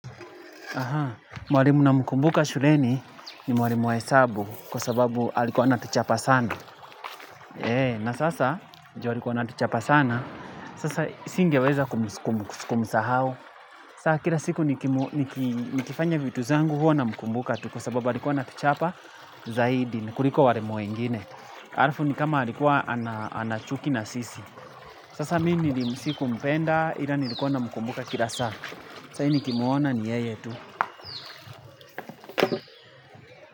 Mwalimu namkumbuka shuleni ni mwalimu wa hesabu kwa sababu alikuwa anatuchapa sana. Na sasa, ju alikuwa anatuchapa sana, sasa singeweza kumsahau. Sasa kila siku nikifanya vitu zangu huwa namkumbuka tu kwa sababu alikuwa anatuchapa zaidi. Ni kuliko walimu wingine. Halafu ni kama alikuwa anachuki na sisi. Sasa mi nilimu sikumpenda ila nilikuwa namkumbuka kila sasa. Sasa hii ni kimwona ni yeye tu.